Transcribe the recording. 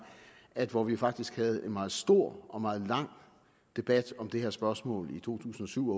at hvor vi faktisk havde en meget stor og meget lang debat om det her spørgsmål i to tusind og syv